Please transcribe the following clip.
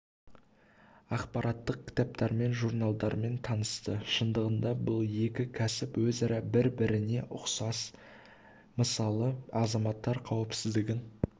ақпараттық кітаптармен журналдармен танысты шындығында бұл екі кәсіп өзара бір-біріне өте ұқсас мысалы азаматтар қауіпсіздігін